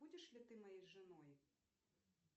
будешь ли ты моей женой